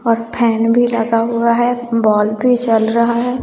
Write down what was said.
और फैन भी लगा हुआ है वॉल भी चल रहा है।